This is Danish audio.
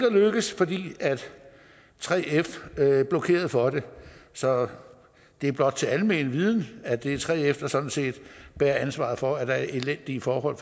at lykkes fordi 3f blokerede for det så det er blot til almen viden at det er 3f der sådan set bærer ansvaret for at der er elendige forhold